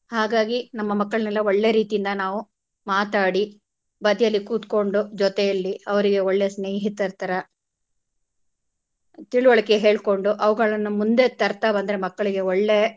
ಹಾಗಾಗಿ ನಮ್ಮ ಮಕ್ಕಳನೆಲ್ಲ ಒಳ್ಳೆ ರೀತಿಯಿಂದ ನಾವು ಮಾತಾಡಿ ಬದಿಯಲ್ಲಿ ಕೂತ್ಕೊಂಡು ಜೊತೆಯಲ್ಲಿ ಅವ್ರಿಗೆ ಒಳ್ಳೆ ಸ್ನೇಹಿತರ ತರಾ ತಿಳುವಳಿಕೆ ಹೇಳ್ಕೊಂಡು ಅವುಗಳನ್ನು ಮುಂದೆ ತರ್ತಾ ಬಂದ್ರೆ ಮಕ್ಕಳಿಗೆ ಒಳ್ಳೆ.